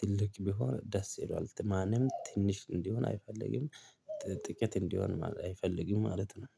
ትልቅ ቢሆን ደስ ይለዋል ማንም ትንሽ እንዲሆን አይፈልግም። ጥቂት እንዲሆን አይፈልግም ማለት ነው